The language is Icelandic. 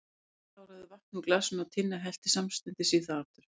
Finnur kláraði vatnið úr glasinu og Tinna hellti samstundis í það aftur.